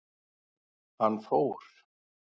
Hann fór.